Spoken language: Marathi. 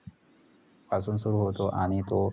पासून सुरु होतो आणि तो